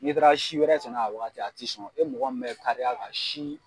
N'i taara si wɛrɛ san ka a wagati a ti sɔn e mɔgɔ min bɛ kariya ka si